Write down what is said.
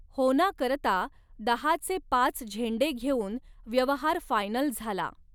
होना करता दहा चे पाच झेंडे घेऊन व्यवहार फायनल झाला.